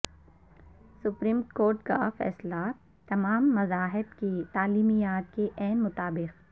supreme court کا فیصلہ تمام مذاہب کی تعلیمات کے عین مطابق